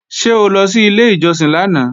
Ṣé o lọ sí ilé ìjọsìn lánàá?